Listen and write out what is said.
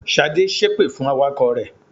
Ṣadé ṣépè fún awakọ̀ rẹ̀.